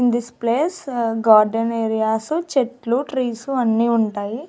In this place ఆ garden areas చెట్లు trees అన్నీ ఉంటాయి.